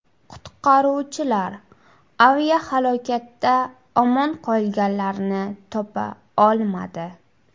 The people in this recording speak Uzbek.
Qutqaruvchilar aviahalokatda omon qolganlarni topa olmadi.